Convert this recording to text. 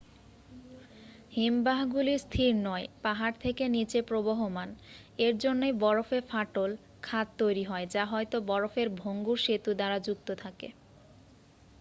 হিমবাহগুলি স্থির নয় পাহাড় থেকে নীচে প্রবহমান এর জন্যেই বরফে ফাটল খাত তৈরি হয় যা হয়ত বরফের ভঙ্গুর সেতু দ্বারা যুক্ত থাকে